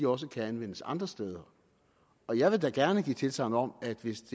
også kan anvendes andre steder og jeg vil da gerne give tilsagn om at hvis